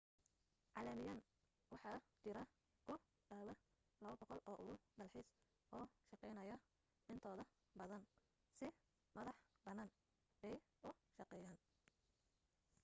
caalamiyan waxa jira ku dhawaa 200 oo urur dalxiis oo shaqaynaya intooda badan si madax bannaan bay u shaqeeyaan